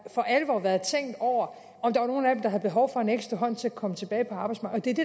for alvor har været tænkt over om der var nogle af dem der havde behov for en ekstra hånd til at komme tilbage på arbejdsmarkedet